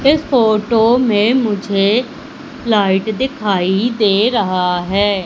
इस फोटो में मुझे लाइट दिखाई दे रहा है।